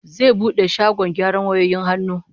Zai bude shagkn gyaran wayoyin hannu